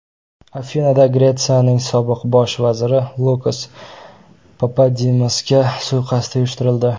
Afinada Gretsiyaning sobiq bosh vaziri Lukas Papadimosga suiqasd uyushtirildi.